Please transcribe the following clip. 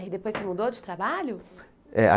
Aí depois você mudou de trabalho? É